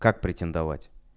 как претендовать